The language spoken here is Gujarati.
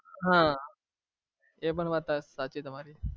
હા એ પણ વાત સાચી તમારી